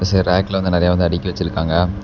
இது ரேக்ல வந்து நறைய வந்து அடுக்கி வச்சுருக்காங்க.